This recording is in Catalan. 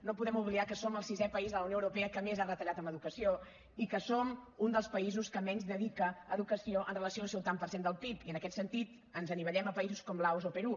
no podem oblidar que som el sisè país de la unió europea que més ha retallat en educació i que som un dels països que menys dedica a educació amb relació al seu tant per cent del pib i en aquest sentit ens anivellem a països com laos o perú